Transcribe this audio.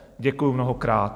Děkuji mnohokrát.